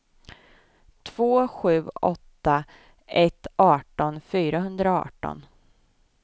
två sju åtta ett arton fyrahundraarton